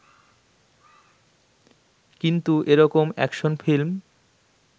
কিন্তু এরকম action film